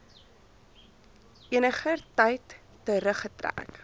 eniger tyd teruggetrek